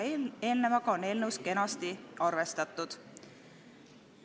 Sellega on eelnõus kenasti arvestatud.